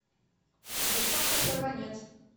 девчонка сорванец